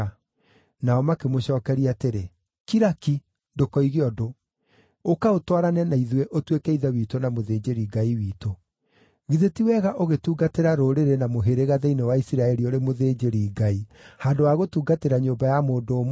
Nao makĩmũcookeria atĩrĩ, “Kira ki! Ndũkoige ũndũ. Ũka ũtwarane na ithuĩ, ũtuĩke ithe witũ na mũthĩnjĩri-Ngai witũ. Githĩ ti wega ũgĩtungatĩra rũrĩrĩ na mũhĩrĩga thĩinĩ wa Isiraeli ũrĩ mũthĩnjĩri-Ngai, handũ ha gũtungatĩra nyũmba ya mũndũ ũmwe?”